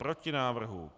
Proti návrhu.